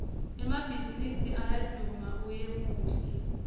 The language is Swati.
emabhaizinisi ayawduma unyemuhle